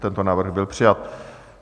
Tento návrh byl přijat.